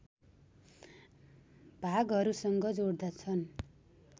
भागहरूसँग जोड्दछन्